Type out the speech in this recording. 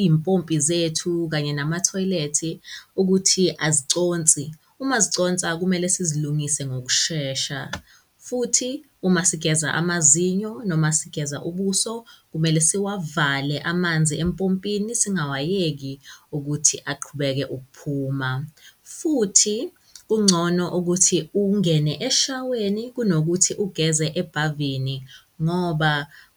iy'mpopi zethu kanye namathoyilethi ukuthi aziconsi. Uma ziconsa, kumele sizilungise ngokushesha futhi uma sigeza amazinyo noma sigeza ubuso, kumele siwavale amanzi empompini, singawayeki ukuthi aqhubeke ukuphuma futhi kungcono ukuthi ungene eshaweni kunokuthi ugeze abhavini ngoba